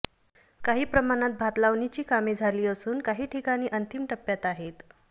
काही प्रमाणात भातलावणीची कामे झाली असून काही ठिकाणी अंतिम टप्प्यात आहेत